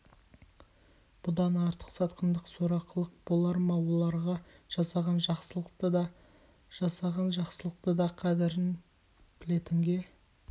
бұдан артық сатқындық сорақылық болар ма оларға жасаған жақсылықты да жасаған жақсылықты да қадірін білетінге